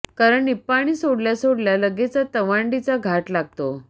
कारण निप्पाणी सोडल्या सोडल्या लगेचच तवांडीचा घाट लागतो